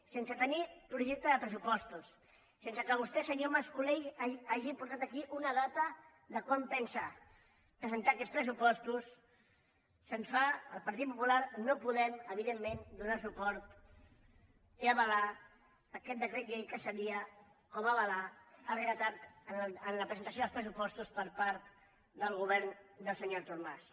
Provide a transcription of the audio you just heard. sense tenir projecte de pressupostos sense que vostè senyor mas colell hagi portat aquí una data de quan pensa presentar aquests pressupostos el partit popular no podem evidentment donar suport i avalar aquest decret llei que seria com avalar el retard en la presentació dels pressupostos per part del govern del senyor artur mas